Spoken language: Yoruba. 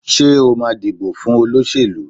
Ṣé o ma dìbò fún olóṣèlú?